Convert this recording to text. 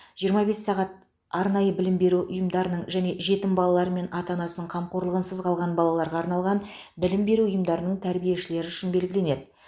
жиырма бес сағат арнайы білім беру ұйымдарының және жетім балалар мен ата анасының қамқорлығынсыз қалған балаларға арналған білім беру ұйымдарының тәрбиешілері үшін белгіленеді